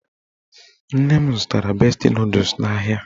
Nne m zụtara besti nọdụs n'ahịa